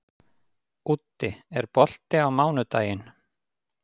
Úddi, er bolti á mánudaginn?